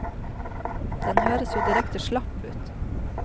Den høres jo direkte slapp ut.